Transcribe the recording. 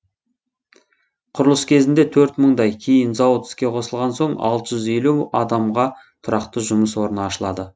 құрылыс кезінде төрт мыңдай кейін зауыт іске қосылған соң алты жүз елу адамға тұрақты жұмыс орны ашылады